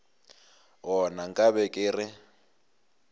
gona nka be ke re